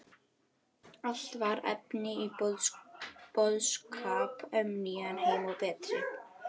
Allt var efni í boðskap um nýjan heim og betri